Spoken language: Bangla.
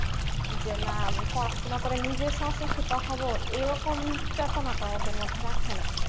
যেমন পড়াশোনা নিজের সাহসিকতা হবে এরকম চেতনা তার মধ্যে রাখেনা